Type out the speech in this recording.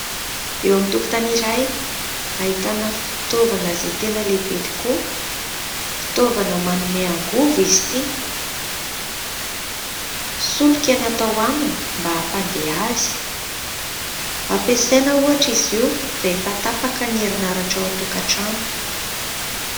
Eo amin'ny tokotany iray ahitana fitaovana izay tena lehibe tokoa. Fitaovana manome angovo izy ity. Solika no atao aminy mba ampandeha azy. Ampiasaina ohatra izy io rehefa tapaka ny herinaratra ao an-tokantrano.